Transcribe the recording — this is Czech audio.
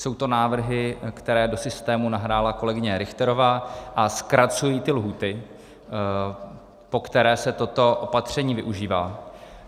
Jsou to návrhy, které do systému nahrála kolegyně Richterová, a zkracují ty lhůty, po které se toto opatření využívá.